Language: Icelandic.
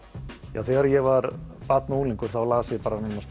já þegar ég var barn og unglingur las ég